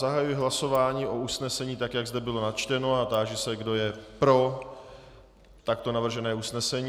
Zahajuji hlasování o usnesení, tak jak zde bylo načteno, a táži se, kdo je pro takto navržené usnesení.